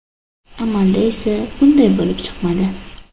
Amalda esa bunday bo‘lib chiqmadi.